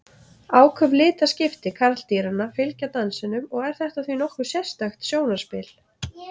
Áköf litaskipti karldýranna fylgja dansinum og er þetta því nokkuð sérstakt sjónarspil.